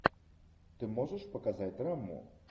ты можешь показать драму